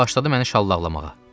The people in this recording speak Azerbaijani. Başladı məni şallaqlamağa.